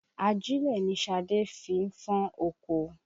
Ajílẹ̀ ni Ṣadé fi ń fọ́n oko